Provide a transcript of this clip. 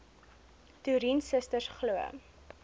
toerien susters glo